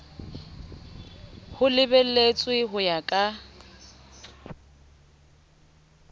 ho lebeletswe ho ya ka